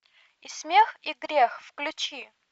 и смех и грех включи